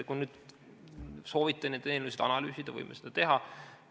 Kui soovite neid eelnõusid analüüsida, siis võime seda teha.